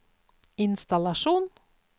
innstallasjon